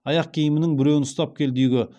аяқ киімінің біреуін ұстап келді үйге